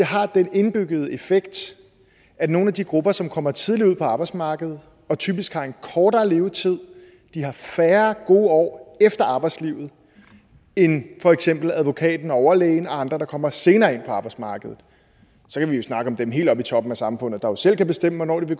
har den indbyggede effekt at nogle af de grupper som kommer tidligt ud på arbejdsmarkedet og typisk har en kortere levetid har færre gode år efter arbejdslivet end for eksempel advokaten og overlægen og andre der kommer senere ind på arbejdsmarkedet så kan vi jo snakke om dem helt oppe i toppen af samfundet der selv kan bestemme hvornår de